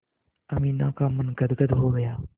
अमीना का मन गदगद हो गया